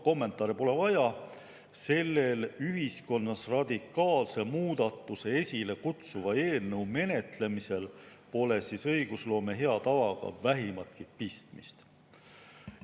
Kommentaare pole vaja: sellel ühiskonnas radikaalse muudatuse esile kutsuva eelnõu menetlemisel pole õigusloome hea tavaga olnud vähimatki pistmist.